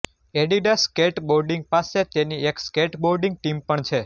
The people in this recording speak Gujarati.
એડિડાસ સ્કેટબોર્ડિંગ પાસે તેની એક સ્કેટબોર્ડિંગ ટીમ પણ છે